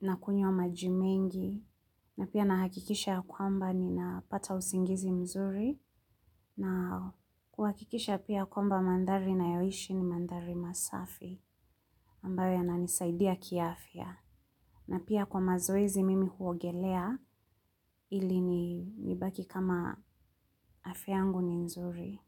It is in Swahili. na kunywa maji mengi na pia na hakikisha ya kwamba ninapata usingizi mzuri na kuhakikisha pia kwamba mandari nayoishi ni mandari masafi ambayo yananisaidia kiafya. Na pia kwa mazoezi mimi huogelea ili nibaki kama afya yangu ni nzuri.